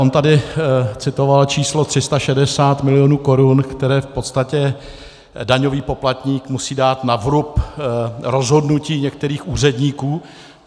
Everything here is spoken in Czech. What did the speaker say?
On tady citoval číslo 360 milionů korun, které v podstatě daňový poplatník musí dát na vrub rozhodnutí některých úředníků.